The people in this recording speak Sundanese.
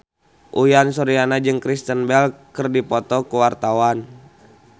Uyan Suryana jeung Kristen Bell keur dipoto ku wartawan